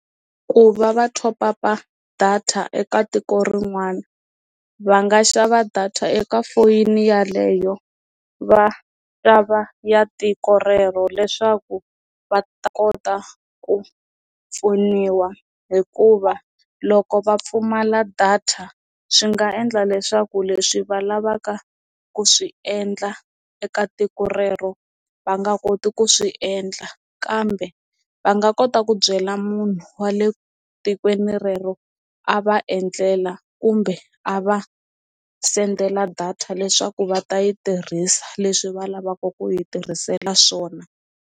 Ku va va thopapa data eka tiko rin'wana va nga xava data eka foyini yaleyo va xava ya tiko rero leswaku va ta kota ku pfuniwa hikuva loko va pfumala data swi nga endla leswaku leswi va lavaka ku swi endla eka tiko rero va nga koti ku swi endla kambe va nga kota ku byela munhu wa le tikweni rero a va endlela kumbe a va sendela data leswaku va ta yi tirhisa leswi va lavaka ku yi tirhisela swona.